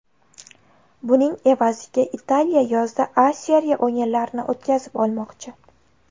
Buning evaziga Italiya yozda A Seriya o‘yinlarini o‘tkazib olmoqchi.